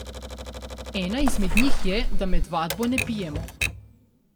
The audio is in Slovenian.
Ena izmed njih je, da med vadbo ne pijemo.